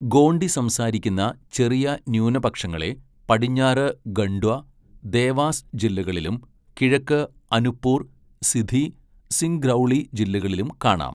Gondii സംസാരിക്കുന്ന ചെറിയ ന്യൂനപക്ഷങ്ങളെ പടിഞ്ഞാറ് ഖണ്ട്വ, ദേവാസ് ജില്ലകളിലും കിഴക്ക് അനുപ്പുർ, സിധി, സിങ്ഗ്രൗളി ജില്ലകളിലും കാണാം.